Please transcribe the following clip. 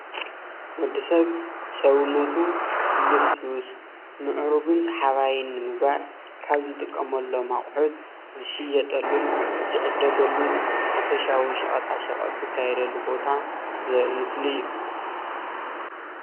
ወዲ ሰብ ሰውነቱ ልስሉስ ምዕሩግን ሳሓባይን ንምግባር ካብ ዝጥቀምሎም ኣቁሑት ዝሸየጠሉን ዝዕደገሉን ሓፈሻዊ ሻቀጣ ሸቀጥ ዝካየደሉ ቦታ ዘርኢ ምስሊ እዩ፡፡